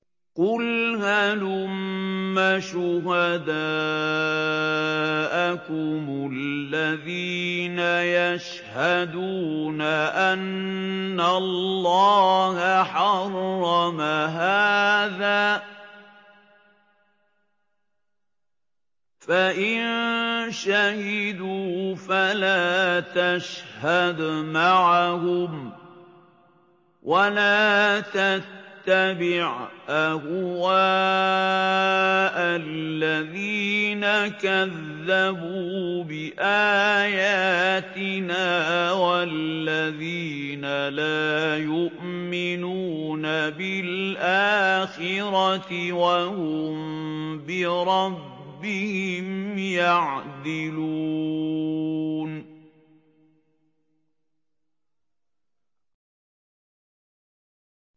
قُلْ هَلُمَّ شُهَدَاءَكُمُ الَّذِينَ يَشْهَدُونَ أَنَّ اللَّهَ حَرَّمَ هَٰذَا ۖ فَإِن شَهِدُوا فَلَا تَشْهَدْ مَعَهُمْ ۚ وَلَا تَتَّبِعْ أَهْوَاءَ الَّذِينَ كَذَّبُوا بِآيَاتِنَا وَالَّذِينَ لَا يُؤْمِنُونَ بِالْآخِرَةِ وَهُم بِرَبِّهِمْ يَعْدِلُونَ